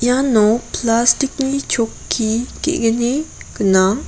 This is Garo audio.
iano plastic-ni chokki ge·gni gnang.